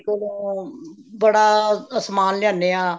ਕੋਲੋਂ ਬੜਾ ਸਮਾਨ ਲਿਆਣੇ ਹਾਂ